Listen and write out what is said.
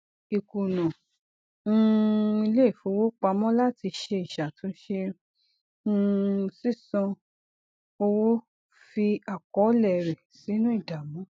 ìkùnà um iléifowopamọ láti ṣe ìṣàtúnṣe um sísan owó fi àkọọlẹ rẹ sínú ìdààmú